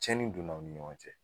Cɛnni donna aw ni ɲɔgɔn cɛ.